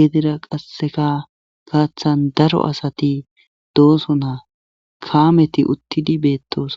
gidida qasseka gaaththan daro asati dooso na kaameti uttidi beettos.